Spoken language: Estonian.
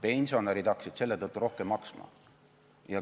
Pensionärid hakkasid selle tõttu rohkem maksma.